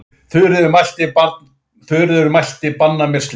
Þuríður mælti banna mér slíkt.